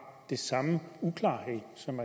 den samme uklarhed som